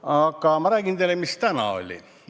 Aga ma räägin teile, mis täna oli.